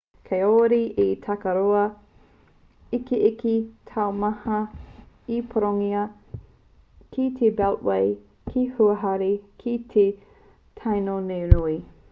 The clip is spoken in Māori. kāore he takaroa ikiiki taumaha i pūrongotia ki te beltway te huarahi kē o te tāonenui